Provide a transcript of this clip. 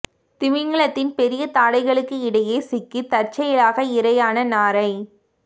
திமிங்கலத்தின் பெரிய தாடைகளுக்கு இடையே சிக்கி தற்செயலாக இரையான நாரை